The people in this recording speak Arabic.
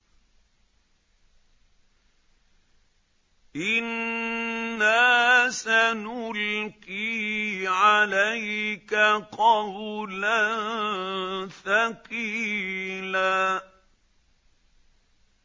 إِنَّا سَنُلْقِي عَلَيْكَ قَوْلًا ثَقِيلًا